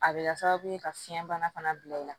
A bɛ kɛ sababu ye ka fiɲɛ bana fana bila i la